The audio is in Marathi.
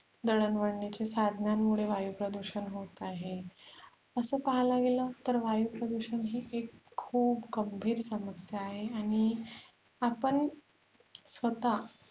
दळणवाळणीचे साधनांनमुळे वायू प्रदुषण होत आहे असे पाहायला गेल तर वायु प्रदुषण ही एक खुप गंभीर समस्या आहे आणि आपण स्वत